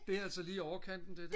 det er altså lige overkanten det der